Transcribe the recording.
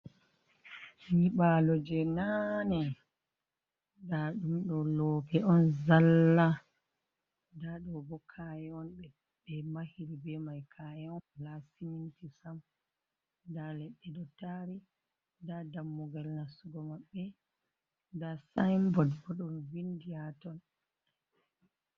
Nyiɓalo je nane, nda ɗum ɗo lope on zalla, nda ɗo bo ka'e on ɓe mahiri be mai, ka'e be siminti sam nda ledde ɗo tari nda dammugal nastugo mabbe nda saibot bo ɗon vindi ha ton.